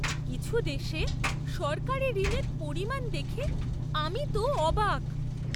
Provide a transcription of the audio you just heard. কিছু দেশে সরকারি ঋণের পরিমাণ দেখে আমি তো অবাক!